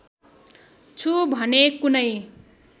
छु भने कुनै